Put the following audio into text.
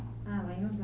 Ah, lá em